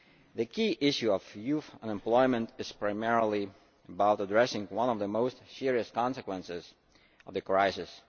The key issue of youth unemployment is primarily about addressing one of the most serious consequences of the crisis.